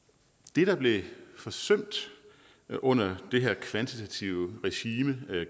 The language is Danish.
det der blev forsømt under det her kvantitative regime af